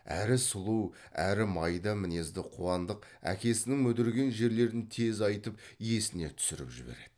әрі сұлу әрі майда мінезді қуандық әкесінің мүдірген жерлерін тез айтып есіне түсіріп жібереді